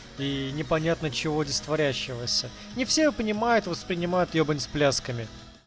непонятно чего здесь творящий вася не все понимают воспринимают ебань с плясками